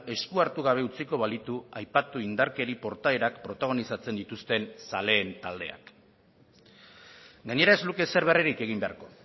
esku hartu gabe utziko balitu aipatu indarkeri portaerak protagonizatzen dituzten zaleen taldeak gainera ez luke ezer berririk egin beharko